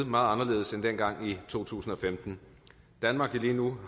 meget anderledes end dengang i to tusind og femten danmark har lige nu